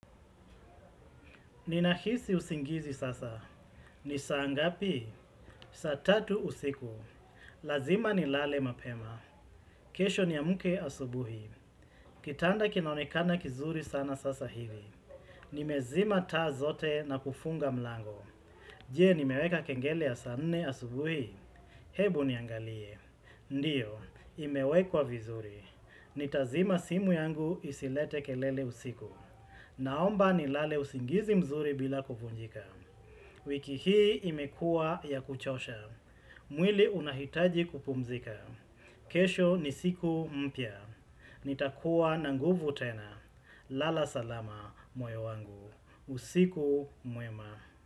Ninahisi usingizi sasa. Ni saa ngapi? Saatatu usiku. Lazima ni lale mapema. Kesho ni amke asubuhi. Kitanda kinaonekana kizuri sana sasa hivi. Nimezima taa zote na kufunga mlango. Je ni meweka kengele ya saanne asubuhi. Hebu niangalie. Ndiyo, imewekwa vizuri. Nitazima simu yangu isilete kelele usiku. Naomba ni lale usingizi mzuri bila kuvunjika. Wiki hii imekua ya kuchosha. Mwili unahitaji kupumzika. Kesho ni siku mpya. Nitakuwa na nguvu tena. Lala salama moyo wangu. Usiku mwema.